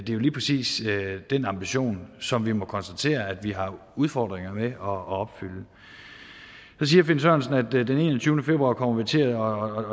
jo lige præcis den ambition som vi må konstatere at vi har udfordringer med herre finn sørensen at den enogtyvende februar kommer vi til at